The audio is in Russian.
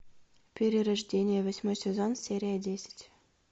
перерождение восьмой сезон серия десять